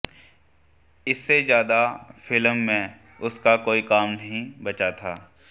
इससे ज़्यादा फिल्म में उनका कोई काम नहीं बचा था